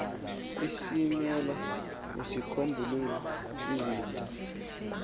esilimela uzicombulule izintya